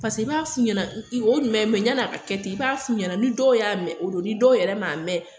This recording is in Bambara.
Pase i b'a f'u ɲɛna o ɲuma ye yan n'a ka kɛ ten i b'a f'u ɲɛna ni dɔw y'a mɛn o don ni dɔw yɛrɛ m'a mɛn